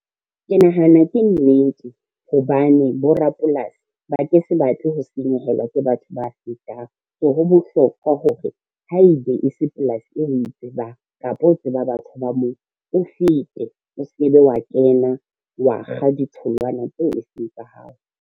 Ke nahana ke nnete, hobane borapolasi ba ke sa batle ho senyehelwa ke batho ba fetang, so ho bohlokwa hore haebe e se polasi eo o tsebang kapa o tseba batho ba moo, o fete o se ke be wa kena wa kga ditholwana tseo eseng tsa hao.